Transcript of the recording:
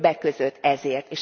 Többek között ezért.